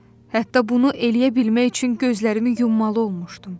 Hətta bunu eləyə bilmək üçün gözlərini yummalı olmuşdum.